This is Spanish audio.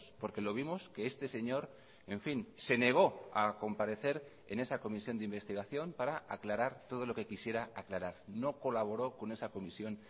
porque lo vimos que este señor en fin se negó a comparecer en esa comisión de investigación para aclarar todo lo que quisiera aclarar no colaboró con esa comisión